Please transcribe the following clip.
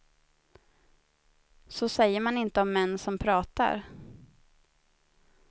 Så säger man inte om män som pratar.